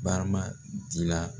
Barama dilan